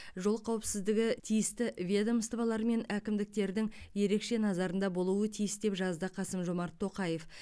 жол қауіпсіздігі тиісті ведомстволар мен әкімдіктердің ерекше назарында болуы тиіс деп жазды қасым жомарт тоқаев